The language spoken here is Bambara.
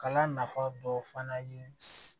Kalan nafa dɔ fana ye